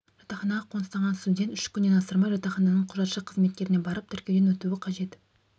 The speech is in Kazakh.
жатақханаға қоныстанған студент үш күннен асырмай жатақхананың құжатшы қызметкеріне барып тіркеуден өтуі қажет